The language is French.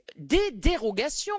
les dérogations.